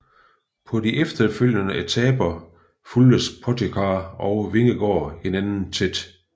På de efterfølgende etaper fulgtes Pogačar og Vingegaard hinanden tæt